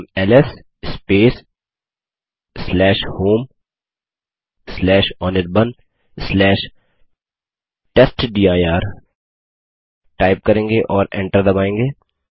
हम LS homeanirbantestdir type करेंगे और एंटर दबायेंगे